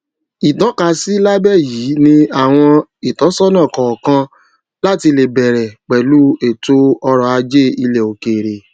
ìtọkasí lábẹ yìí ni àwọn ìtósónà kọọkan láti lè bẹrẹ pẹlú ètòọrọ ajé ilẹ òkèèrè